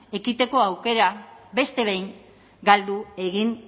ekiteko aukera beste behin galdu egin